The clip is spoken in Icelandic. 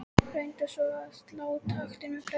Reyndi svona að slá taktinn með plötum.